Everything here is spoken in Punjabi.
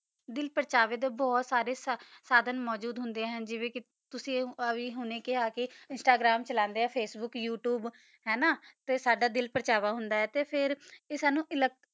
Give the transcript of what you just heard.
ਦਿਲ ਪਰਚਾਵਾ ਬੋਹਤ ਸਦਨ ਮੋਜਦ ਹੋਂਦਾ ਨਾ ਤੁਸੀਂ ਹੁਣ ਖਾ ਵੀ ਕਾ ਤੁਸੀਂ ਇੰਸ੍ਤਾਗ੍ਰਾਮ ਚਲਾਂਦਾ ਆ ਅਚੇਬੂਕ ਯੋਉਤੁਬੇ ਹਨ ਨਾ ਤਾ ਸਦਾ ਦਿਲ ਪਰਚਾਵਾ ਹੋਂਦਾ ਆ ਤਾ ਫਿਰ ਅਸੀਂ